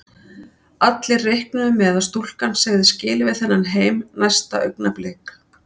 Allir reiknuðu með að stúlkan segði skilið við þennan heim næsta augnablik.